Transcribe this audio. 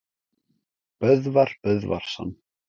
Böðvar Böðvarsson